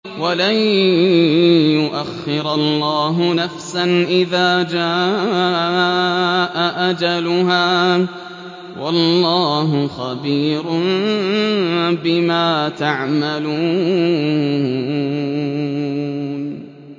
وَلَن يُؤَخِّرَ اللَّهُ نَفْسًا إِذَا جَاءَ أَجَلُهَا ۚ وَاللَّهُ خَبِيرٌ بِمَا تَعْمَلُونَ